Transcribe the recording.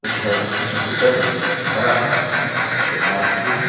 उधर स्कूटर खड़ा है और बाइक भी है।